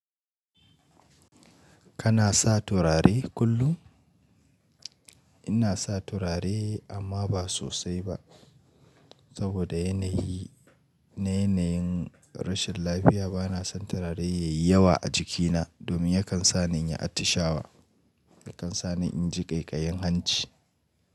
Kana sa turare kullum? Ina sa turare amma ba sosai ba, saboda yanayi na yanayin rashin lafiya. Bana son turare yayi yawa a jikina domin yakan sani inyi atishawa, yakan sa ni in ji ƙaiƙayin hanci.